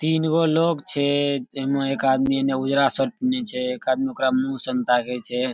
तीन गो लोग छै एमे एक आदमी एने उजरा शर्ट पीहिनले छै एक आदमी ओकरा मुँह सन ताके छै।